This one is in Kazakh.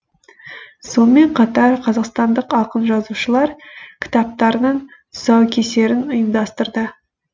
сонымен қатар қазақстандық ақын жазушылар кітаптарының тұсаукесерін ұйымдастырды